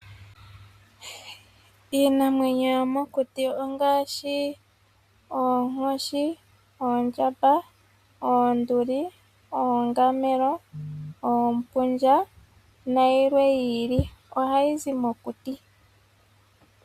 Iinamwenyo yomokuti ongaashi oonkoshi, oonduli, oondjamba, oongamelo, oompundja nayilwe yi ili. Ohayi zi mokuti.